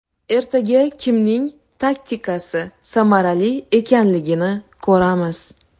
Ertaga kimning taktikasi samarali ekanligini ko‘ramiz.